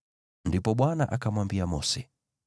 Ndipo Bwana akamwambia Mose,